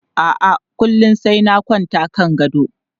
A'a, kullum sai na kwanta kan gado.